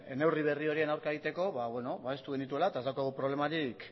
neurri berri horien aurka egiteko babestu genituela eta ez daukagu problemarik